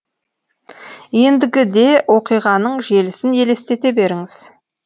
ендігі де оқиғаның желісін елестете беріңіз